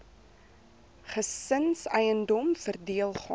gesinseiendom verdeel gaan